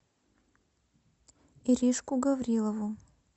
иришку гаврилову